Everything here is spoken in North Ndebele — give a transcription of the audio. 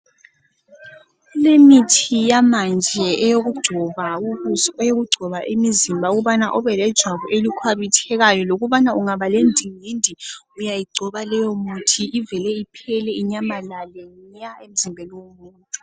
Kulemithi yamanje eyokugcoba ubuso eyokugcoba imizimba ukubana ube lejwabu elikhwabithekayo lokubana ungaba lendingindi uyayigcoba leyo muthi ivele iphele inyamalale nya emzimbeni womuntu.